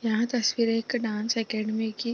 यह तस्वीर एक डांस एकेडमी की --